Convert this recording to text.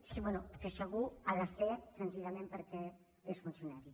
bé que segur ha de fer senzillament perquè és funcionari